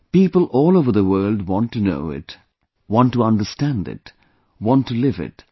People all over the world want to know it, want to understand it, and want to live it